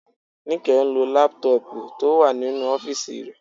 Níkẹ́ ń lo lápútọ̀pù tó wà nínú ọ́fìsì rẹ